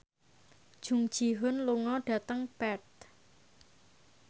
Jung Ji Hoon lunga dhateng Perth